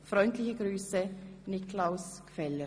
Freundliche Grüsse, Niklaus Gfeller.